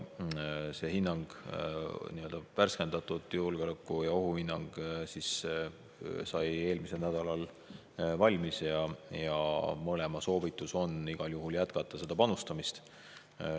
See hinnang, värskendatud julgeoleku- ja ohuhinnang, sai eelmisel nädalal valmis ja mõlema asutuse soovitus on igal juhul jätkata panustamist.